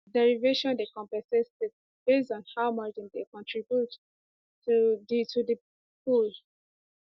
derivation dey compensate states based on how much dem dey contribute to di to di pool